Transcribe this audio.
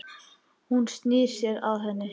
Hann snýr sér að henni.